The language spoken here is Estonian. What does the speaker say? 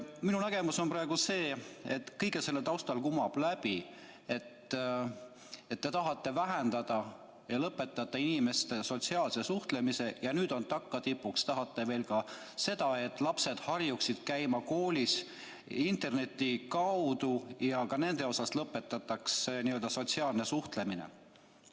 Minu nägemus on praegu selline, et kõige selle taustal kumab läbi, et te tahate vähendada ja lõpetada inimeste sotsiaalset suhtlemist ja nüüd tagatipuks tahate veel seda, et lapsed harjuksid koolis käima interneti kaudu ja ka nende puhul lõpetataks n-ö sotsiaalne suhtlemine.